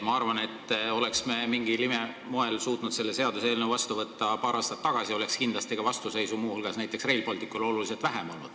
Ma arvan, et kui me oleks mingil imemoel suutnud selle seaduse paar aastat tagasi vastu võtta, siis oleks kindlasti olnud ka oluliselt vähem vastuseisu muu hulgas näiteks Rail Balticule.